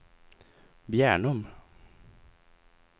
Bjärnum